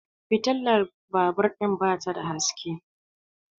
fitilar babur ɗin ba ta da haske